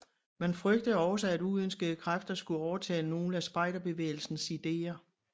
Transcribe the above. Man frygtede også at uønskede kræfter skulle overtage nogle af spejderbevægelsens ideer